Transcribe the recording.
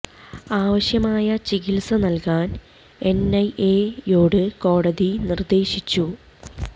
ആവശ്യമായ ചികിത്സ നൽകാൻ എൻ ഐ എ യോട് കോടതി നിർദേശിച്ചു